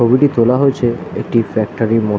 ছবিটি তোলা হয়েছে একটি ফ্যাক্টরি ইর মধ্--